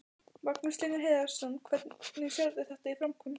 Magnús Hlynur Hreiðarsson: Hvernig sérðu þetta í framkvæmd?